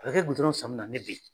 A bɛ kɛ gudɔrɔn san min na ne bɛ yen